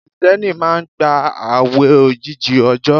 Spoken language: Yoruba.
Krìsténi máa n gba ààwè ogójì òjò